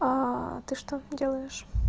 а ты что делаешь